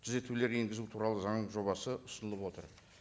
түзетулер енгізу туралы заңның жобасы ұсынылып отыр